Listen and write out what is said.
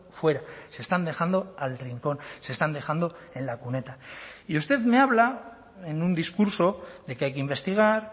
fuera se están dejando al rincón se están dejando en la cuneta y usted me habla en un discurso de que hay que investigar